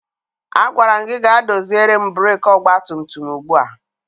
Agwara m gị gaa doziere m breeki ọgbatumtum ugbu a!